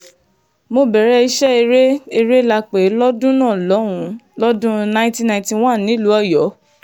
mo bẹ̀rẹ̀ iṣẹ́ eré eré la pè é lọ́dún náà lọ́hùn-ún lọ́dún nineteen ninety-one nílùú ọ̀yọ́